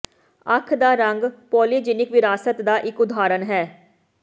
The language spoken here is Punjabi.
ਅੱਖ ਦਾ ਰੰਗ ਪੌਲੀਜੀਨਿਕ ਵਿਰਾਸਤ ਦਾ ਇੱਕ ਉਦਾਹਰਣ ਹੈ